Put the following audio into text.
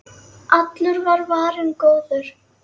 Allur var varinn góður.